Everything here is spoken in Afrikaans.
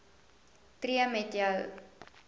tree met jou